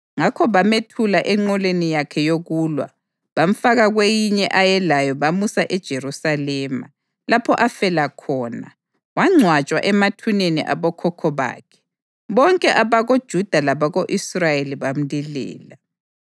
Ngakho bamethula enqoleni yakhe yokulwa, bamfaka kweyinye ayelayo bamusa eJerusalema, lapho afela khona. Wangcwatshwa emathuneni abokhokho bakhe, bonke abakoJuda labako-Israyeli bamlilela.